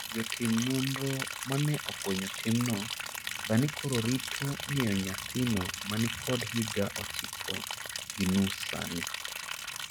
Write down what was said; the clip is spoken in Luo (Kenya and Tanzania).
Jotim nonro mane ofwenyo timno sani koro rito ng'eyo nyathino mani kod higa ochiko gi nus sani